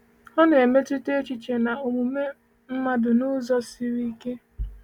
Ọ na-emetụta echiche na omume mmadụ n’ụzọ siri ike.